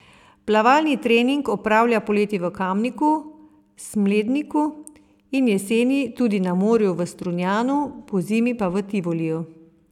Plavalni trening opravlja poleti v Kamniku, Smledniku in jeseni tudi na morju v Strunjanu, pozimi pa v Tivoliju.